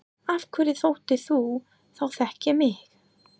Af hverju þóttist þú þá þekkja mig?